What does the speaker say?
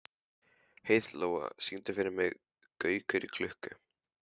Heiðlóa, syngdu fyrir mig „Gaukur í klukku“.